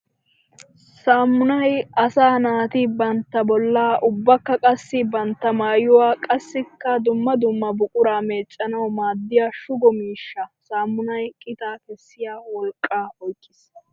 Saamunay asaa naati bantta bolla ubbakka qassi bantta maayuwa qassikka dumma dumma buqura meecanawu maadiya shugo miishsha. Saamunay qitaa kessiya wolqqa oyqqis.